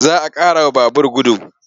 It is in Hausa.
Za a ƙarawa babur gudu.